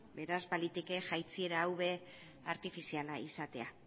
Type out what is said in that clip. beraz baliteke jaitsiera hau ere artifiziala izatea